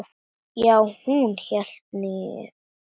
Já, hún hélt nú það.